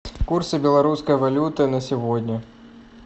курсы белорусской валюты на сегодня